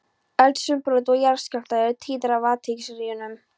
Eldsumbrot og jarðskjálftar eru tíðir á úthafshryggjunum.